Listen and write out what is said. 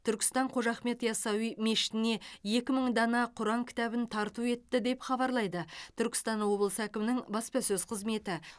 түркістан қожа ахмет яссауи мешітіне екі мың дана құран кітабын тарту етті деп хабарлайды түркістан облысы әкімінің баспасөз қызметі